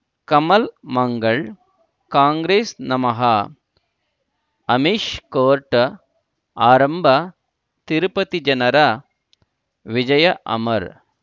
ಕಮಲ್ ಮಂಗಳ್ ಕಾಂಗ್ರೆಸ್ ನಮಃ ಅಮಿಷ್ ಕೋರ್ಟ್ ಆರಂಭ ತಿರುಪತಿ ಜನರ ವಿಜಯ ಅಮರ್